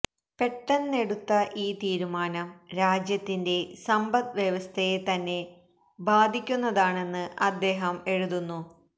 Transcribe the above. പെട്ടന്നെടുത്ത ഈ തീരുമാനം രാജ്യത്തിന്റെ സമ്പദ് വ്യവസ്ഥയെ തന്നെ ബാധിക്കുന്നതാണെന്ന് അദ്ദേഹം എഴുതുന്നു